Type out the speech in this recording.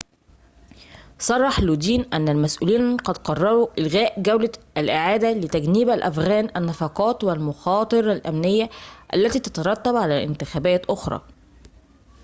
صرح لودين أن المسؤولين قد قرروا إلغاء جولة الإعادة لتجنيب الأفغان النفقات والمخاطر الأمنية التي تترتب على انتخابات أخرى